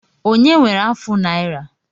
Onye nwere afụ naira?